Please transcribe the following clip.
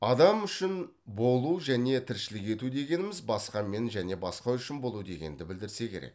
адам үшін болу және тіршілік ету дегеніміз басқамен және басқа үшін болу дегенді білдірсе керек